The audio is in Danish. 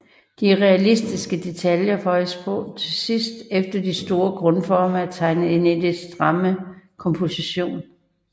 De realistiske detaljer føjes på til sidst efter de store grundformer er tegnet ind i den stramme komposition